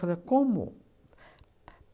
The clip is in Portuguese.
como?